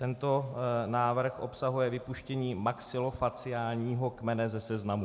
Tento návrh obsahuje vypuštění maxilofaciálního kmene ze seznamu.